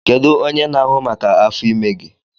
Kedu onye na-ahụ maka afọ ime gị?